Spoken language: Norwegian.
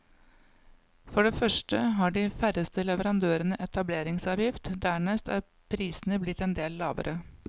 For det første har de færreste leverandørene etableringsavgift, dernest er prisene blitt en del lavere.